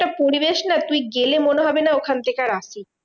একটা পরিবেশ না? তুই গেলে মনে হবে না ওখান থেকে আর আসি।